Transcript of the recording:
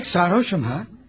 Demək sarhoşum ha?